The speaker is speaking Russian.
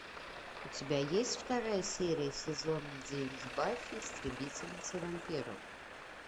у тебя есть вторая серия сезона девять баффи истребительница вампиров